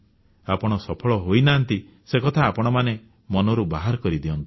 ଆପଣ ସଫଳ ହୋଇନାହାନ୍ତି ସେ କଥା ଆପଣମାନେ ମନରୁ ବାହାର କରିଦିଅନ୍ତୁ